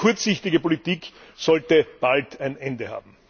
Diese kurzsichtige Politik sollte bald ein Ende haben!